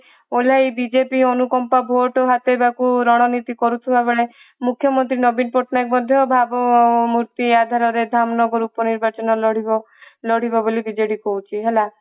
BJP ଅନୁ କମ୍ପା vote ହତେଇବାକୁ ରାଜନୀତି କରୁଥିବା ବେଳେ ମୁଖ୍ୟମନ୍ତ୍ରୀ ନବୀନ ପଟନାୟକ ମଧ୍ୟ ଭାବ ଆଧାରରେ ଧାମନଗର ଉପ ନିର୍ବାଚନ ଲଢିବ ଲଢିବ ବୋଲି BJP କହୁଛି ହେଲା